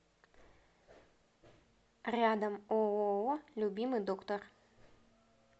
рядом ооо любимый доктор